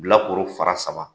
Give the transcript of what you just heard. Bilakoro fara saba